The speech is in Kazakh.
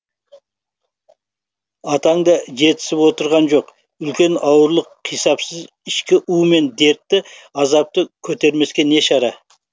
атаң да жетісіп отырған жоқ үлкен ауырлық қисапсыз ішкі у мен дерті азапты көтермеске не шара